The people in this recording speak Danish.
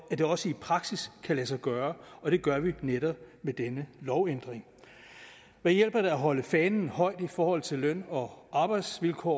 det også i praksis kan lade sig gøre og det gør vi netop ved denne lovændring hvad hjælper det at holde fanen højt i forhold til løn og arbejdsvilkår